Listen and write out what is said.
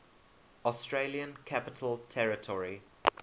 australian capital territory